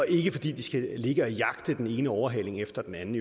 ikke fordi de skal ligge og jagte den ene overhaling efter den anden